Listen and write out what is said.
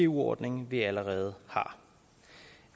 ordning vi allerede har